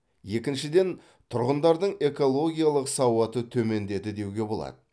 екіншіден тұрғындардың экологиялық сауаты төмендеді деуге болады